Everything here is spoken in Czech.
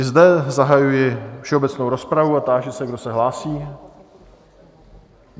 I zde zahajuji všeobecnou rozpravu a táži se, kdo se hlásí?